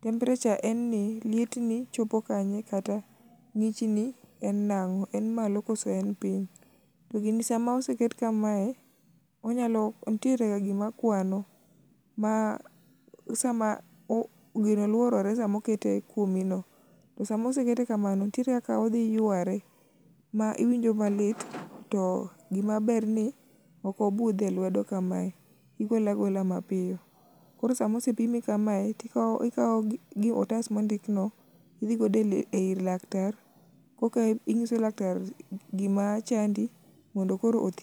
temperature en ni lietni chopo kanye kata ng'ichni en nang'o, en malo kose en piny. To gini sama oseket kaye, nitierega gima kwano ma sama, gino lworore sama oketo kuomino. To sama oseketo kamano, nitiere kaka odhi yware, ma iwinjo malit, to gimaber ni ok obudh e lwedo kamae, igole agola mapiyo. koro sama osepimi kamae, tikawo otas mondikno, idho godo ir laktar, koka inyiso laktar gima chandi mondo koro othiedhi.